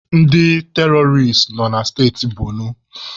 Ndị teroris nọ na steti Bonu.